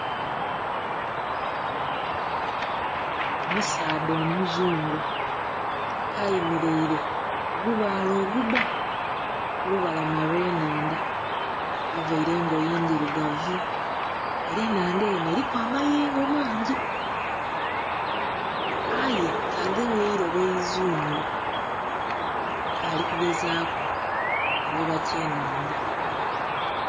Omusaadha omuzungu ke ayemereire ku gubaale ogubba ku lubalama lwe nhandha avaire engoye ndhirugavu era enhandha eno eriku amayengo aye ke agemye eirobo ke ari kugezaku kuvuba bye nhandha.